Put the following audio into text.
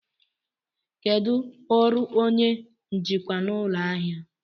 Kedu ọrụ onye njikwa ụlọ ahịa?